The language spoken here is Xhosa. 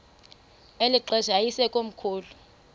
eli xesha yayisekomkhulu